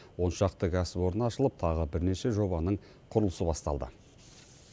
он шақты кәсіпорын ашылып тағы бірнеше жобаның құрылысы басталды